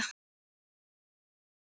Bæði kembdi hún og spann.